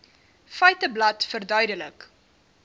feiteblad verduidelik